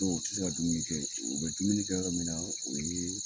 u ti se ka dumuni kɛ, u be dumuni kɛ yɔrɔ min na o ye